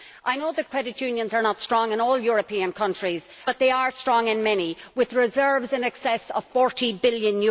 I know that credit unions are not strong in all European countries, but they are strong in many, with reserves in excess of EUR 40 billion.